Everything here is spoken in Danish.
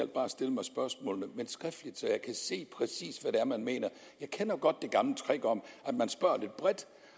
bare stille mig spørgsmålene men skriftligt så jeg kan se præcis hvad det er man mener jeg kender godt det gamle trick om at man spørger lidt bredt